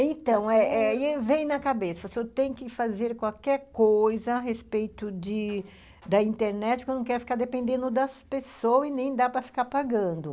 Então, eh eh vem na cabeça, se eu tenho que fazer qualquer coisa a respeito de da internet, porque eu não quero ficar dependendo das pessoas e nem dá para ficar pagando.